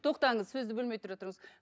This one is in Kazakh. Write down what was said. тоқтаңыз сөзді бөлмей тұра тұрыңыз